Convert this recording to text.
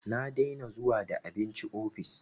Na dena zuwa da abinci ofis